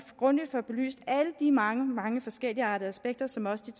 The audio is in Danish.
grundigt får belyst alle de mange mange forskelligartede aspekter som også de